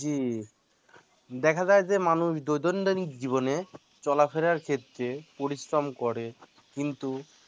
জী, দেখা যায় যে মানুষ দৈনন্দিন জীবনে চলা ফেরার ক্ষেত্রে পরিশ্রম করে কিন্তু